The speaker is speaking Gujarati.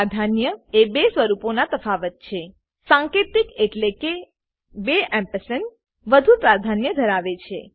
પ્રાધાન્ય એ બે સ્વરૂપોના તફાવત છે સાંકેતિક એન્ડ એટલેકે બે એમ્પસંડ વધુ પ્રાધાન્ય ધરાવે છે